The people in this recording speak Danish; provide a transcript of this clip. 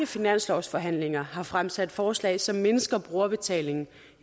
finanslovsforhandlinger har fremsat forslag som mindsker brugerbetalingen